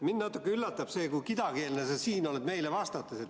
Mind natuke üllatab see, kui kidakeelne sa siin oled meile vastates.